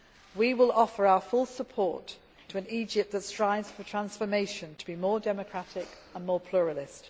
elections. We will offer our full support to an Egypt that strives for transformation to be more democratic and more